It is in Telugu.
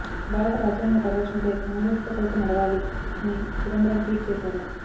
భారత రాజ్యాంగ పరిరక్షణకై కాంగ్రెస్తో కలిసి నడవాలి అని చిదంబరం ట్వీట్ చేశారు